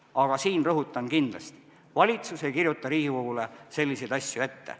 Aga siin rõhutan kindlasti: valitsus ei kirjuta Riigikogule selliseid asju ette.